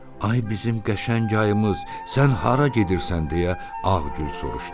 Ay bizim qəşəng ayımız, sən hara gedirsən deyə Ağgül soruşdu.